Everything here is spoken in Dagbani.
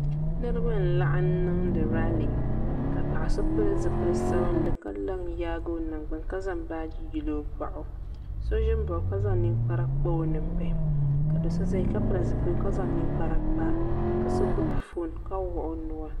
Niriba n laɣim niŋdi laali ka paɣa so pili zipil'sabinli ka la n yaagi o nangbani ka zaŋ baaji yili o boɣu so ʒi mbaɣi o ka zaŋ ninkpara kpa o ninbihi ka do'so zaya ka pili zipiligu ka zaŋ ninkpara kpa so gbibi fooni ka wuɣi o nua.